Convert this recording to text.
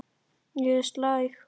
Ég er slæg.